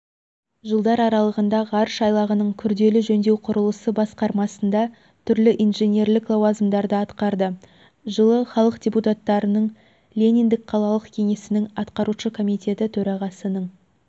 жылдар аралығында ғарыш айлағының күрделі жөндеу құрылысы басқармасында түрлі инженерлік лауазымдарды атқарды жылы халық депутаттарының лениндік қалалық кеңесінің атқарушы комитеті төрағасының